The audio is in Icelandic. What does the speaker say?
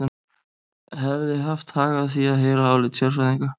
Hefði haft hag að því að heyra álit sérfræðinga.